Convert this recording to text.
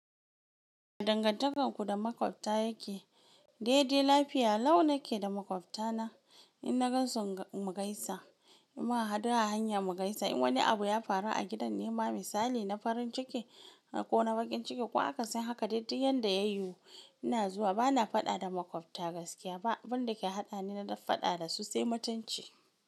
Dangantakarku da maƙwabta yake, dai dai lafiya, lau nake da maƙwabta na in na gan su mu gaisa, in mun hadu a hanya mu gaisa, in wani abu ya faru a gidan nema ba misali na farin ciki ko na bakin ciki ko aka sani haka daidai yanda ya yiwu ina zuwa bana faɗa da maƙwabta gaskiya ba, abin da ke haɗa ni na faɗa da su sai mutunci.